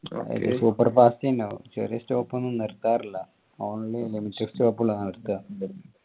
super fast ഏനു ചെറിയ stop ഒന്ന് നിർത്താറില്ല only limited stop കളാണ് നിർത്താ